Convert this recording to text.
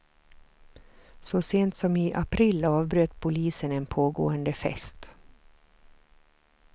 Så sent som i april avbröt polisen en pågående fest.